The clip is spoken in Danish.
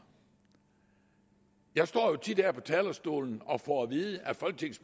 jeg står jo tit her på talerstolen og får at vide af